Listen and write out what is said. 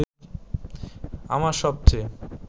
আমার সবচেয়ে